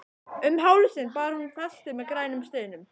Um hálsinn bar hún festi með grænum steinum.